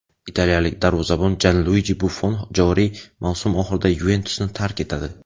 Italiyalik darvozabon Janluiji Buffon joriy mavsum oxirida "Yuventus"ni tark etadi.